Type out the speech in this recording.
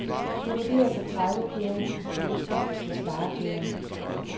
Det vurderes, at tredive pærer i huset kan udskiftes med sparepærer.